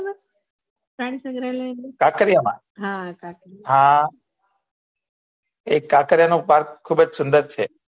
ખાખરીયા માં હા એ ખાખરીયા નો પાર્ક ખુબજ સુંદર છે